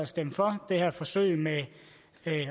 stemme for det her forsøg med